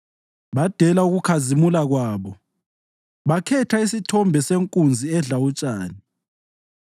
Badela ukuKhazimula kwabo bakhetha isithombe senkunzi edla utshani.